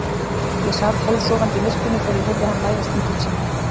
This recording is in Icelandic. Ég sat hálfsofandi í myrkrinu þegar ég heyrði hann læðast inn til sín.